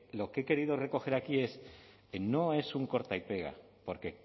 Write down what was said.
lo que he querido recoger aquí es no es un corta y pega porque